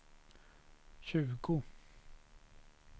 tjugo